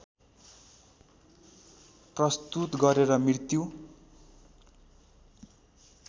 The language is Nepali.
प्रस्तुत गरेर मृत्यु